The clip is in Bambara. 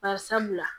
Bari sabula